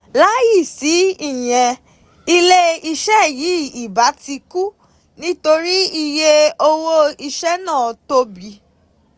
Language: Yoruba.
Láìsí ìyẹn ilé-iṣẹ́ yìí ìbá ti kú nítorí iye owó iṣẹ́ náà tóbi.